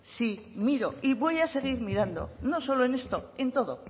sí y voy a seguir mirando no solo en esto en todo